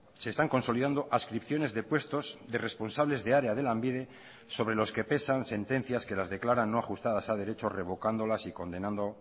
se están consolidando adscripciones de puestos de responsables de área de lanbide sobre los que pesan sentencias que las declaran no ajustadas a derecho revocándolas y condenando